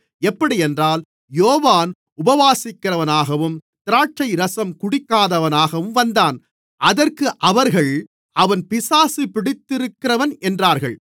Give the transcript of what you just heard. எப்படியென்றால் யோவான் உபவாசிக்கிறவனாகவும் திராட்சைரசம் குடிக்காதவனாகவும் வந்தான் அதற்கு அவர்கள் அவன் பிசாசு பிடித்திருக்கிறவன் என்றார்கள்